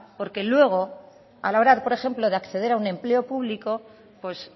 porque luego a la hora por ejemplo de acceder a un empleo público pues